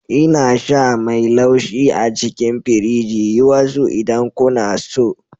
Ina sha mai laushi a cikin firiji. Yi wasu idan kuna so.